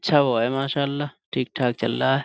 اچھی ہے ماشااللہ سب ٹھیک ٹھاک چل رہا ہے۔.